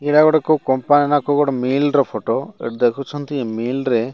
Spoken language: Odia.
ଏଇଟା ଗୋଟେ କଉ କମ୍ପାନୀ ନା କଉ ମେଲର ଫଟ ଦେଖୁଛନ୍ତି ମେଲ ରେ --